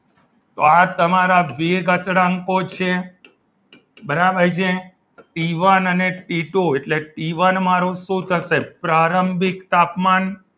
તો આ તમારા વેગ અચળાંકો છે બરાબર છે ટી વન અને ટી ટુ એટલે ટી વન મારો શું થશે પ્રારંભિક તાપમાન